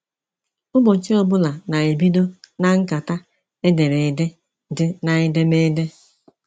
Ụbọchị ọbụla na ebido na nkata edere ede dị na edemede.